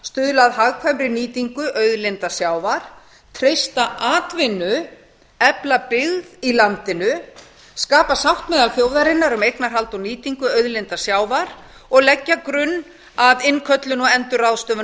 stuðla að hagkvæmri nýtingu auðlinda sjávar treysta atvinnu efla byggð í landinu skapa sátt meðal þjóðarinnar um eignarhald og nýtingu auðlinda sjávar og leggja grunn að innköllun og endurráðstöfun